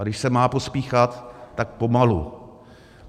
A když se má pospíchat, tak pomalu.